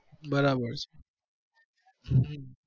બરાબર છે હમ